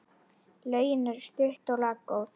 Lögin eru stutt og laggóð.